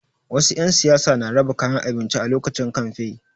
Wasu 'yan siyasa na raba kayan abinci a lokacin kamfe.